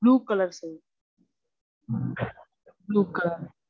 Blue colour sir. Blue colour